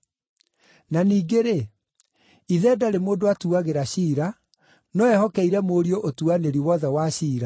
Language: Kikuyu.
Na ningĩ-rĩ, ithe ndarĩ mũndũ atuagĩra ciira, no ehokeire Mũriũ ũtuanĩri wothe wa ciira,